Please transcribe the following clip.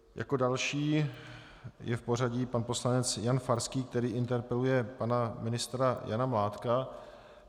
Jako další je v pořadí pan poslanec Jan Farský, který interpeluje pana ministra Jana Mládka.